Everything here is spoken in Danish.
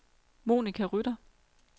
Monica Rytter